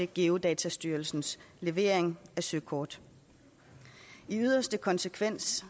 geodatastyrelsens levering af søkort i yderste konsekvens